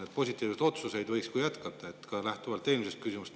Neid positiivseid otsuseid võiks veel teha, ka lähtuvalt eelmisest küsimusest.